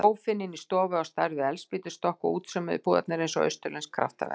Sófinn inni í stofu á stærð við eldspýtnastokk og útsaumuðu púðarnir eins og austurlensk kraftaverk.